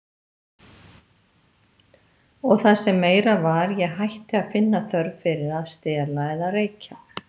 Og það sem meira var, ég hætti að finna þörf fyrir að stela eða reykja.